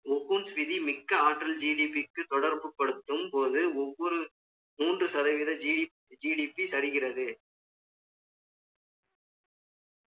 ஒகன் ஸ்விதி மிக்க ஆற்றல் GDP க்கு தொடர்பு கொடுத்தும் போது, ஒவ்வொரு மூன்று சதவீத GDP தருகிறது.